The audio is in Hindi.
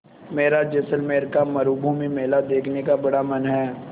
मेरा जैसलमेर का मरूभूमि मेला देखने का बड़ा मन है